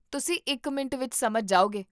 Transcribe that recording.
ਤੁਸੀਂ ਇੱਕ ਮਿੰਟ ਵਿੱਚ ਸਮਝ ਜਾਓਗੇ